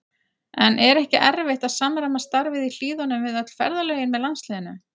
En er ekki erfitt að samræma starfið í Hlíðunum við öll ferðalögin með landsliðinu?